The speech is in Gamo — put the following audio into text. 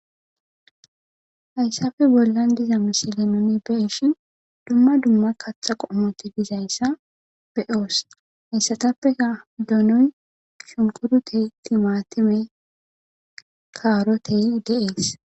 Hayisappe bollan diza misle nuni be'ishin dumma dumma kaththa qommoti dizaysa be'os. Haysatappeka donoy,shunkurute,timatimey,karote de'es.